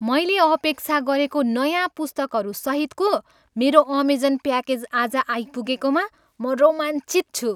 मैले अपेक्षा गरेको नयाँ पुस्तकहरू सहितको मेरो अमेजन प्याकेज आज आइपुगेकोमा म रोमाञ्चित छु।